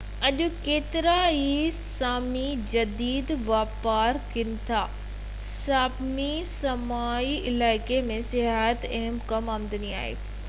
اڄ ڪيترائي سامي جديد واپار ڪم ڪن ٿا ساپمي سامي علائقي ۾ سياحت هڪ اهم آمدني آهي